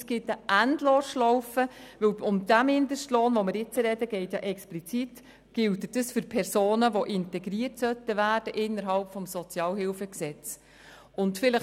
Das erzeugt eine Endlosschlaufe, da dieser Mindestlohn, über welchen wir jetzt sprechen, für Personen gilt, die gemäss SHG integriert werden sollten.